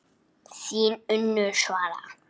Þín Unnur Svala.